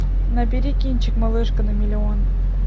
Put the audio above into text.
набери кинчик малышка на миллион